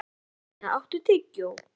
Santía, áttu tyggjó?